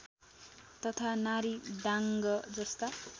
तथा नारीदाङ्ग जस्ता